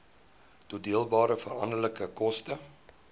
toedeelbare veranderlike koste